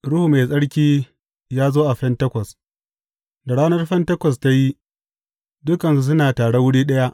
Ruhu Mai Tsarki ya zo a Fentekos Da ranar Fentekos ta yi, dukansu suna tare wuri ɗaya.